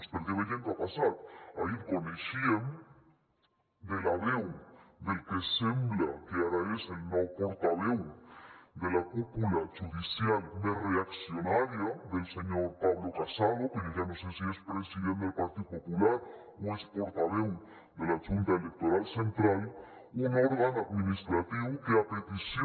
perquè veiem què ha passat ahir coneixíem de la veu del que sembla que ara és el nou portaveu de la cúpula judicial més reaccionària del senyor pablo casado que jo ja no sé si és president del partit popular o és portaveu de la junta electoral central un òrgan administratiu que a petició